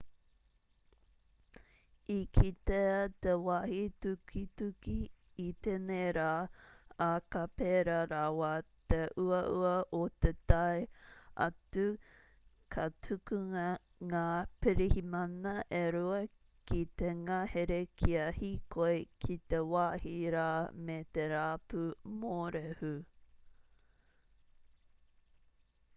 i kitea te wāhi tukituki i tēnei rā ā ka pērā rawa te uaua o te tae atu ka tukuna ngā pirihimana e rua ki te ngahere kia hīkoi ki te wāhi rā me te rapu mōrehu